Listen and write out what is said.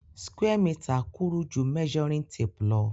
Square meter kúrú ju measuring tape lo